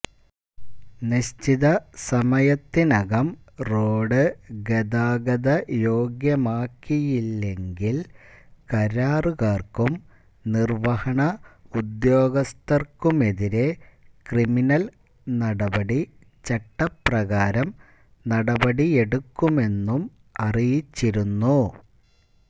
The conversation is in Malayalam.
നിശ്ചിത സമയത്തിനകം റോഡ് ഗതാഗതയോഗ്യമാക്കിയില്ലെങ്കില് കരാറുകാര്ക്കും നിര്വ്വഹണ ഉദ്യോഗസ്ഥര്ക്കുമെതിരെ ക്രിമിനല് നടപടി ചട്ടപ്രകാരം നടപടിയെടുക്കുമെന്നും അറിയിച്ചിരുന്നു